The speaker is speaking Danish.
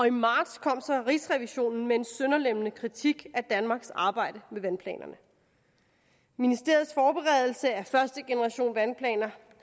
i marts kom så rigsrevisionen med en sønderlemmende kritik af danmarks arbejde med vandplanerne ministeriets forberedelse af første generation vandplaner